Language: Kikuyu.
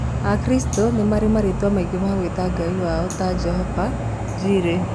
Akristiano nĩ marĩ marĩtwa maingĩ ma gwĩta Ngai wao ta Jehova, Njireh